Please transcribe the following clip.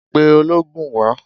Pe oloogun wá!